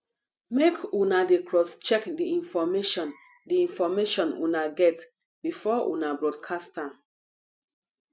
make una dey crosscheck the information the information una get before you broadcast am